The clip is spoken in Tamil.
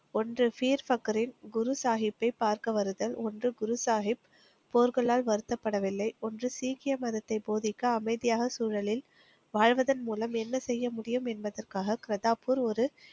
ஒன்று. ஸ்ரீசக்பரின் குரு சாகிப்பை பார்க்க வருதல். ஒன்று. குரு சாகிப் போர்களால் வருத்தப்படவில்லை. ஒன்று சீக்கிய மதத்தை போதிக்க, அமைதியாக சூழலில் வாழ்வதன் மூலம் என்ன செய்ய முடியும் என்பதற்காக பிர்தாப்பூர் ஒரு